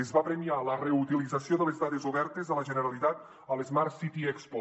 es va premiar la reutilització de les dades obertes de la generalitat a l’smart city expo